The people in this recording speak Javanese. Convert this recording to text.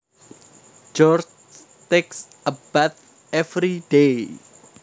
George takes a bath every day